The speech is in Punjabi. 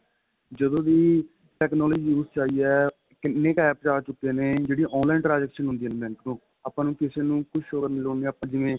ਜਦੋ ਦੀ technology ਉਸੇ ਚ ਆਈ ਏ ਕਿੰਨੇ ਕ APPS ਆ ਚੁਕੇ ਨੇ ਜਿਹੜੀ online transection ਹੁੰਦੀ ਏ bank ਤੋਂ ਆਪਾਂ ਨੂੰ ਕਿਸੇ ਨੂੰ ਕੁੱਝ show ਕਰਨ ਦੀ ਲੋੜ ਨੀ ਆਪਾਂ ਜਿਵੇਂ